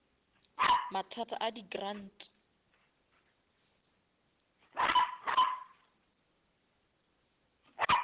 mathata a di grant